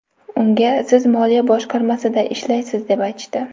Unga siz moliya boshqarmasida ishlaysiz deb aytishdi.